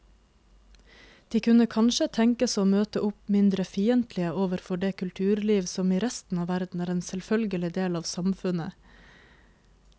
De kunne kanskje tenkes å møte opp mindre fiendtlige overfor det kulturliv som i resten av verden er en selvfølgelig del av samfunnet.